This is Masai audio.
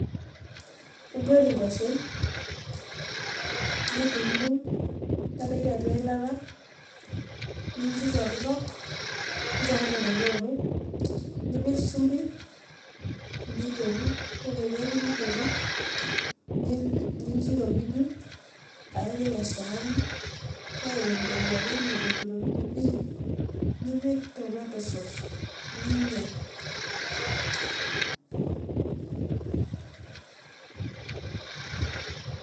Iguet nkwashen nidungdung nintadoki atua eilata nincho itokitok ,nincho meoto nipik shumbi ,ore peoku nidotu nincho iropiju paipik esaani ore eton irowua penyo itu iropiju pii nipik tomato sauce nidotu ninya.